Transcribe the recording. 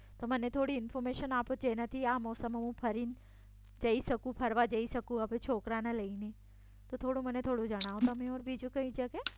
મને થોડી ઇન્ફોર્મેશન આપો જેનાથી આ મોસમમાં હું ફરવા જઈ શકું છોકરાને લઈને. થોડું મને થોડું જણાવો. તમે ઓર બીજું થોડું શકો